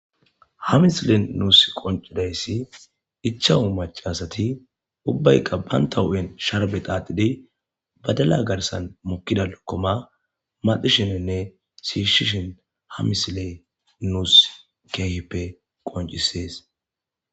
Ha misilen nus qonciday 5 macasati ubbayka banta huphen sharbe xaxid . Badala garsan mokida lokoma maxishine shiishin ha misiley nus qoncises